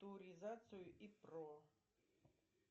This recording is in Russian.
торизацию и про